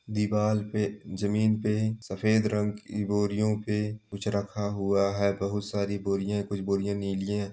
दीवाल पे जमीन पे सफेद रंग की बोरियों पे कुछ रखा हुआ है बहुत सारी बोरियां हैं कुछ बोरियां नीली हैं।